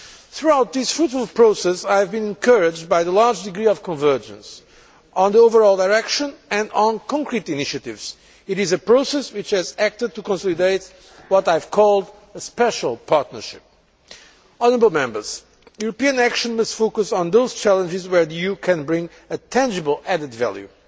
Throughout this fruitful process, I have been encouraged by the large degree of convergence on the overall direction and on concrete initiatives. It is a process which has acted to consolidate what I have called a special partnership'. European action must focus on those challenges where the EU can bring a tangible added value.